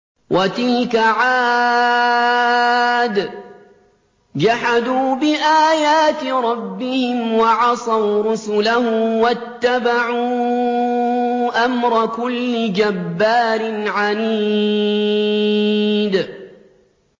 وَتِلْكَ عَادٌ ۖ جَحَدُوا بِآيَاتِ رَبِّهِمْ وَعَصَوْا رُسُلَهُ وَاتَّبَعُوا أَمْرَ كُلِّ جَبَّارٍ عَنِيدٍ